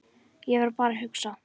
Ég var bara að hugsa.